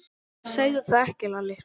Segðu það ekki Lalli!